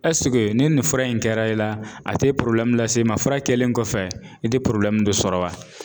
ni nin fura in kɛra i la a te lase i ma fura kɛlen kɔfɛ i te dɔ sɔrɔ wa?